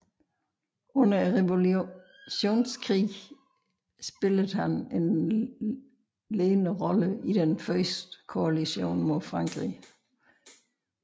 Under Revolutionskrigene spillede han en ledende rolle i den første koalition mod Frankrig